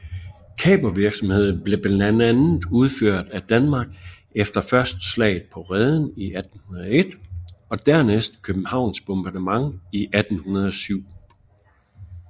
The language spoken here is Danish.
Kapervirksomhed blev blandt andet udført af Danmark efter først Slaget på Rheden i 1801 og dernæst Københavns Bombardement i 1807